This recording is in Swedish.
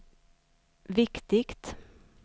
viktigt